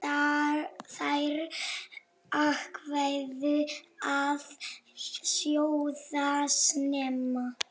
Þær ákváðu að sjóða snemma.